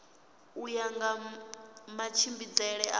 u ya nga matshimbidzele a